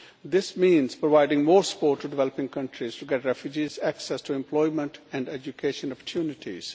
This means providing more support to developing countries to get refugees access to employment and education opportunities.